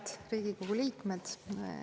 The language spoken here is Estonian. Head Riigikogu liikmed!